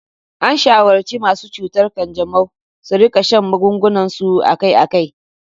An shawarci masu cutar kanjamau su rika shan magungunansu akai-akai.